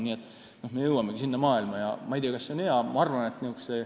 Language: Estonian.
Nii et me jõuamegi sellisesse maailma, aga ma ei tea, kas see on hea.